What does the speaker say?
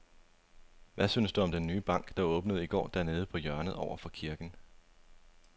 Hvad synes du om den nye bank, der åbnede i går dernede på hjørnet over for kirken?